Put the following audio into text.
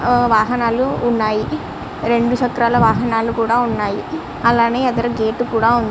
ఆ వాహనల్లు ఉన్నాయి రెండు చేకరాల వాహనల్లు కూడా ఉన్నాయి అలానే ఎదురు గేట్ కూడా ఉం --